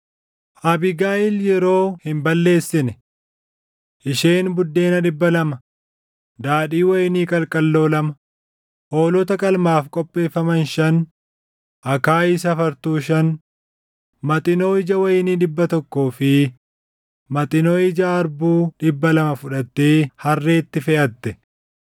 Abiigayiil yeroo hin balleessine. Isheen buddeena dhibba lama, daadhii wayinii qalqalloo lama; hoolota qalmaaf qopheeffaman shan, akaayii safartuu shan, maxinoo ija wayinii dhibba tokkoo fi maxinoo ija harbuu dhibba lama fudhattee harreetti feʼatte.